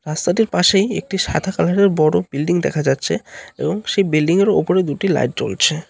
রাস্তাটির পাশে একটি সাদা কালার -এর বড় বিল্ডিং দেখা যাচ্ছে এবং সেই বিল্ডিং -এর ওপরে দুটি লাইট জ্বলছে।